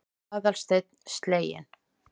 sagði Aðalsteinn sleginn.